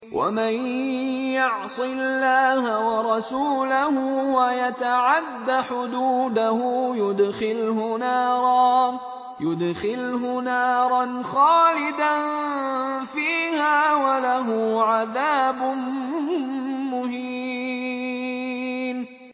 وَمَن يَعْصِ اللَّهَ وَرَسُولَهُ وَيَتَعَدَّ حُدُودَهُ يُدْخِلْهُ نَارًا خَالِدًا فِيهَا وَلَهُ عَذَابٌ مُّهِينٌ